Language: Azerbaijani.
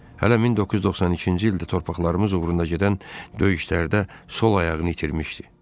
Hələ 1992-ci ildə torpaqlarımız uğrunda gedən döyüşlərdə sol ayağını itirmişdi.